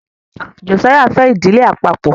Josiah fè Ìdílé àpapo.